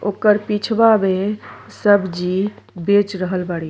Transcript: ओकर पिछवा भे सब्जी बेच रहल बाड़ी।